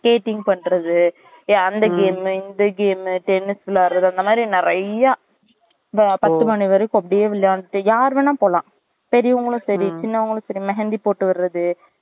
skating பண்றது ஏய் அந்த game இந்த game tennis விளையாடுறது அந்த மாதிரி நெறைய்யா இந்த பத்து மணி வரைக்கும் அப்டியே விளையான்ட்டு யார் வேணாலும் போலாம் பெரியவங்களும் சரி சின்னவங்களும் சரி mehandi போட்டு விடுறது